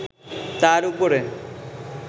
তাঁর উপরে